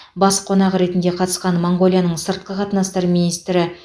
бас қонақ ретінде қатысқан моңғолияның сыртқы қатынастар министрі